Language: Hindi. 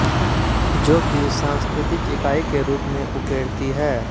जोकि सांस्कृतिक इकाई के रुप् में उकेरती है